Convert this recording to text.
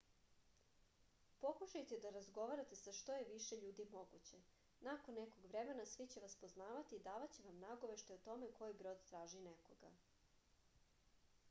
pokušajte da razgovarate sa što je više ljudi moguće nakon nekog vremena svi će vas poznavati i davaće vam nagoveštaje o tome koji brod traži nekoga